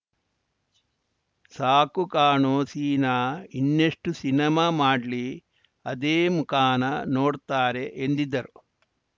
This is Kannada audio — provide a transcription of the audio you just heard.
ಸಾಕು ಕಾಣೋ ಸೀನ ಇನ್ನೆಷ್ಟುಸಿನಿಮಾ ಮಾಡ್ಲಿ ಅದೇ ಮುಖಾನಾ ನೋಡ್ತಾರೆ ಎಂದಿದ್ದರು